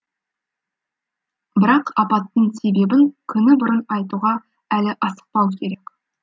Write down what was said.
бірақ апаттың себебін күні бұрын айтуға әлі асықпау керек